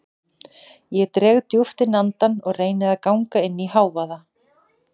Ég dreg djúpt inn andann og reyni að ganga inn í hávaða